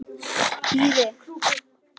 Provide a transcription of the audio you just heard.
Hún vildi óðfús koma með.